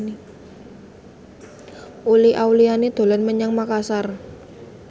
Uli Auliani dolan menyang Makasar